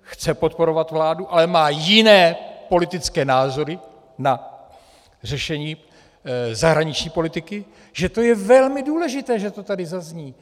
chce podporovat vládu, ale má jiné politické názory na řešení zahraniční politiky, že to je velmi důležité, že to tady zazní.